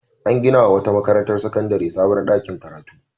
An gina wa wata makarantar sakandare sabon ɗakin karatu.